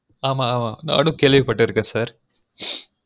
ஆமா ஆமா நானும் கேள்விபட்டுருக்கேன் sir